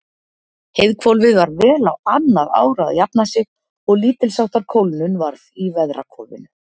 Heiðhvolfið var vel á annað ár að jafna sig og lítilsháttar kólnun varð í veðrahvolfinu.